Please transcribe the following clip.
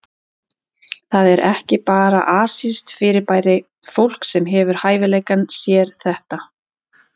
Það er ekki bara asískt fyrirbæri, fólk sem hefur hæfileikann sér þetta.